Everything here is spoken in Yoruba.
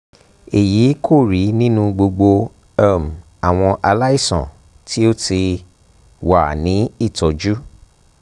èyí kò rí nínú gbogbo um àwọn aláìsàn tí ó ti um wà ní ìtọ́jú